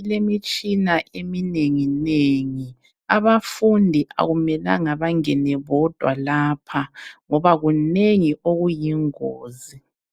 ilemitshina eminengi nengi abafundi akumelanga bangene bodwa lapha ngoba kunengi okuyingozi